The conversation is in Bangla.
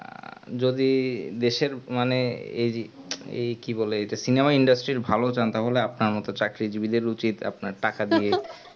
যদি দেশের মানে এই এই কি বলে ইটা cinema-industry র ভালো জানতে হলে আপনার মতন চাকরিজীবী দেড় উচিত আপনার টাকা দিয়ে